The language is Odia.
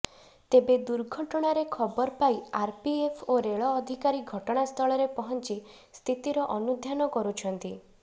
ତେବେ ଦୁର୍ଘଟଣାରେ ଖବର ପାଇ ଆରପିଏଫ୍ ଓ ରେଳ ଅଧିକାରୀ ଘଟଣାସ୍ଥଳରେ ପହଞ୍ଚି ସ୍ଥିତିର ଅନୁଧ୍ୟାନ କରୁଛନ୍ତି